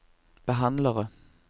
behandlere